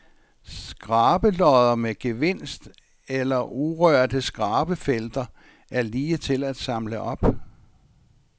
Skrabelodder med gevinst eller urørte skrabefelter er lige til at samle op.